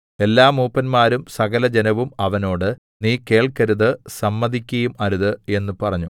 എല്ലാ മൂപ്പന്മാരും സകലജനവും അവനോട് നീ കേൾക്കരുത് സമ്മതിക്കുകയും അരുത് എന്ന് പറഞ്ഞു